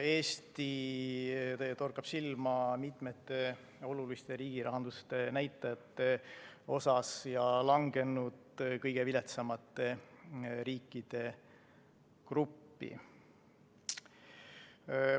Eesti torkab silma mitme olulise riigirahanduse näitaja poolest ja on langenud kõige viletsamate riikide gruppi.